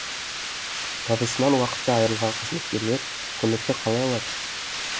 табысынан уақытша айырылған қызметкерлер көмекті қалай алады